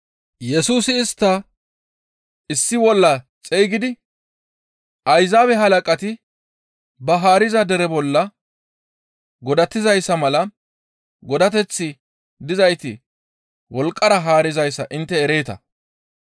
Yesusi istta issi bolla xeygidi, «Ayzaabe halaqati ba haariza dere bolla godatizayssa mala godateththi dizayti wolqqara haarizayssa intte ereeta.